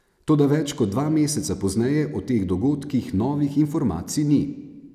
Toda več kot dva meseca pozneje o teh dogodkih novih informacij ni.